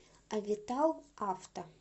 авитал авто